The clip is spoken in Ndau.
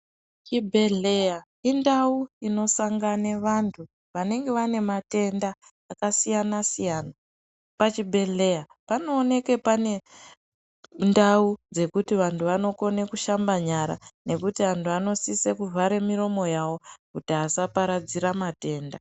Chibhedhlera indau inosangana vantu vanenge vanematenda akasiyana siyana. Pachibhehlera panooneka panendau yekuti antu anokona kushamba nyara nekuti antu anosisa kuvhara miromo yavo kuti vasatapudzira matenda.